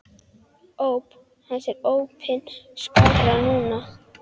Óp hans er opin skárra nú.